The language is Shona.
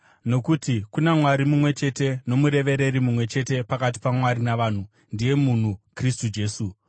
Nokuti kuna Mwari mumwe chete, nomurevereri mumwe chete pakati paMwari navanhu, ndiye munhu Kristu Jesu.